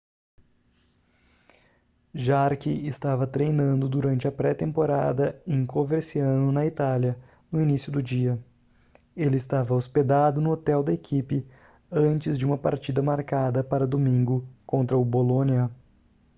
jarque estava treinando durante a pré temporada em coverciano na itália no início do dia ele estava hospedado no hotel da equipe antes de uma partida marcada para domingo contra o bolonia